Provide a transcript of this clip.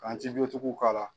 go tigiw k'a la.